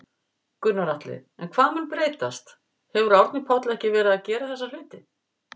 Gunnar Atli: En hvað mun breytast, hefur Árni Páll ekki verið að gera þessa hluti?